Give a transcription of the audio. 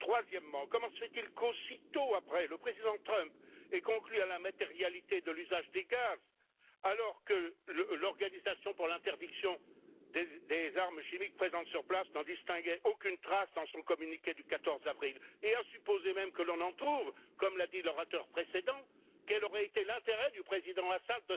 Troisième question comment se fait il qu'aussitôt après, le président Trump ait conclu à la matérialité de l'usage des gaz alors que l'Organisation pour l'interdiction des armes chimiques, présente sur place, n'en distinguait aucune trace dans son communiqué du 14 avril et, à supposer même que l'on en trouve, comme l'a dit l'orateur précédent, quel aurait été l'intérêt du Président Al Assad